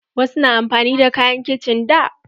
Wasu na amfani da kayan kicin da.